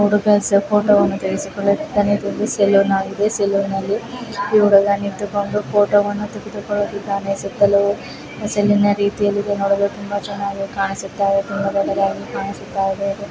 ಹುಡುಗ ಫೋಟೋ ವನ್ನು ತೆಗಿಸಿಕೊಳ್ಳುತಿದ್ದಾನೆ ಇದೋಂದು ಸೆಲ್ಯೂನ ಆಗಿದೆ ಸೆಲ್ಯೂನ ಲ್ಲಿ ಈ ಹುಡುಗ ನಿಂತುಕೊಂಡು ಫೋಟೋ ವನ್ನು ತೆಗೆದುಕೊಳ್ಳುತಿದ್ದಾನೆ ಸುತ್ತಲು ಸೆಲ್ಲಿ ನ ರೀತಿಯಲ್ಲಿ ನೋಡಲು ತುಂಬಾ ಚೆನ್ನಾಗಿ ಕಾಣಿಸುತ್ತ ಇದೆ ತುಂಬಾ ದೊಡ್ಡದಾಗಿ ಕಾಣಿಸುತ್ತ ಇದೆ .